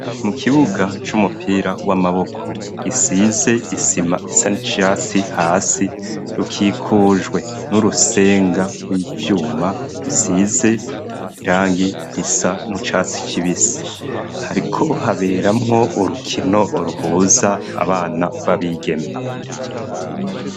Mu kibuga c'umupira w'amaboko gisize isima isa n'icasi hasi, rukikujwe n'urusenga rw'ivyuma rusize irangi risa nucatsi kibisi . Hariko haberamwo urukino ruhuza abana b'abigeme.